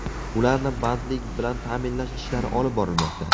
Ularni bandlik bilan ta’minlash ishlari olib borilmoqda.